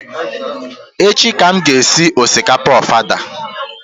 Echi ka m ga-esi osikapa ofada